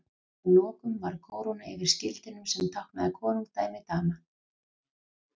Að lokum var kóróna yfir skildinum sem táknaði konungdæmi Dana.